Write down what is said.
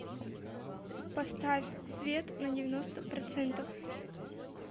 поставь свет на девяносто процентов